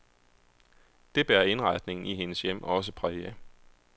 Det bærer indretningen i hendes hjem også præg af.